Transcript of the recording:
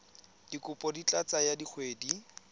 dikopo di ka tsaya dikgwedi